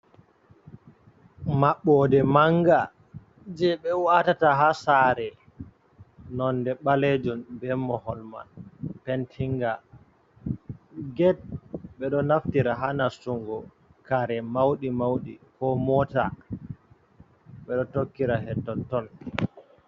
Mabɓode manga je be watata ha saare, nonde balejum be mohol man pentinga, get be do naftira ha nastungo kare mauɗe mauɗe ko mota ɓeɗo tokkira het totton.